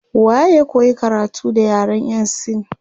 Waye ya koyi karatu da yaren yan sin